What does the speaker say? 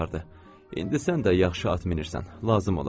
İndi sən də yaxşı at minirsən, lazım olar.